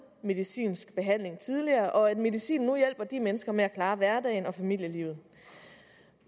medicinsk behandling tidligere og at medicinen nu hjælper de mennesker med at klare hverdagen og familielivet